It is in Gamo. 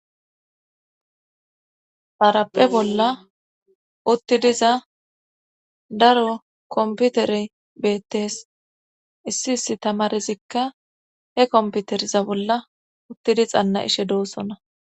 Xaraphe bolla uttidiza daro komputere beettes issi issi tamarizikka he komputeriza bolla uttidi xanna ishe doossona